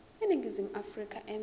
iningizimu afrika emelwe